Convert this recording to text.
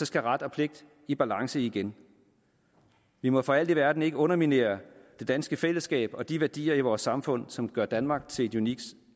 skal ret og pligt i balance igen vi må for alt i verden ikke underminere det danske fællesskab og de værdier i vores samfund som gør danmark til et unikt